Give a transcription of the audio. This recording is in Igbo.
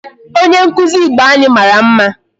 Onye nkụzi Igbo anyị mara mma.